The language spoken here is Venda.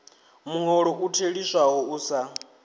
muholo u theliswaho u sa